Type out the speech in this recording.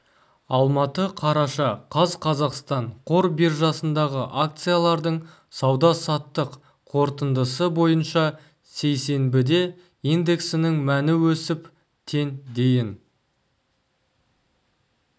алматы қараша қаз қазақстан қор биржасындағы акциялардың сауда-саттық қорытындысы бойынша сейсенбіде индексінің мәні өсіп тен дейін